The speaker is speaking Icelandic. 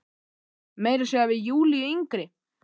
Meira að segja við Júlíu yngri.